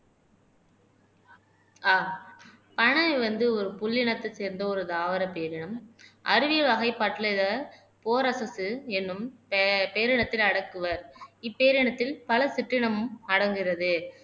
ஆஹ் பனை வந்து ஒரு புள்ளினத்தை சேர்ந்த ஒரு தாவர பேரினம் அருவி வகைப்பட்டலிட போரசத்து எனும் பேபேரினத்தில் அடக்குவர் இப்பேரினத்தில் பல சிற்றினமும் அடங்குகிறது